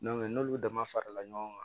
n'olu damafara ɲɔgɔn kan